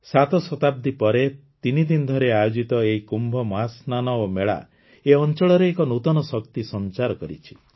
ସାତ ଶତାବ୍ଦୀ ପରେ ତିନିଦିନ ଧରି ଆୟୋଜିତ ଏହି କୁମ୍ଭ ମହାସ୍ନାନ ଓ ମେଳା ଏ ଅଂଚଳରେ ଏକ ନୂତନ ଶକ୍ତି ସଂଚାର କରିଛି